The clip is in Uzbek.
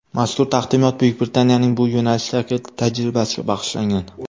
Mazkur taqdimot Buyuk Britaniyaning bu yo‘nalishdagi tajribasiga bag‘ishlangan.